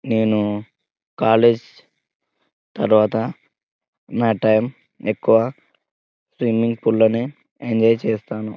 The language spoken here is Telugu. నేను కాలేజ్ తర్వాత నా టైం ఎక్కువ స్విమ్మింగ్ పూల్ లోనే ఎంజాయ్ చేస్తాను.